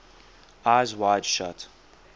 eyes wide shut